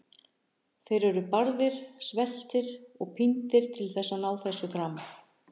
Þeir eru barðir, sveltir og píndir til að ná þessu fram.